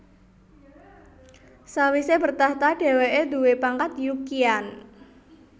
Sawise bertahta dheweke duwé pangkat Yu Qian